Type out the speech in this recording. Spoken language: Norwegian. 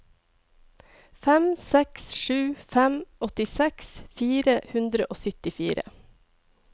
fem seks sju fem åttiseks fire hundre og syttifire